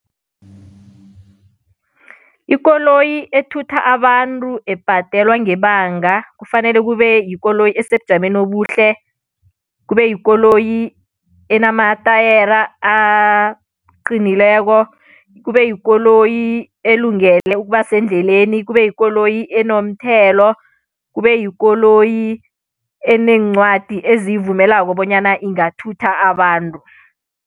Ikoloyi ethutha abantu ebhadelwa ngebanga kufanele kube yikoloyi esebujameni obuhle, kube yikoloyi enamatayera aqinileko, kube yikoloyi elungele ukuba sendleleni, kube yikoloyi enomthelo, kube yikoloyi eneencwadi eziyivumelako bonyana ingathutha abantu.